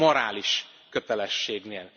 A morális kötelességnél.